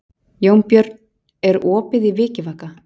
Jónbjörn, er opið í Vikivaka?